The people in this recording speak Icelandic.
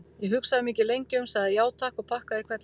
Ég hugsaði mig ekki lengi um, sagði já, takk, og pakkaði í hvelli.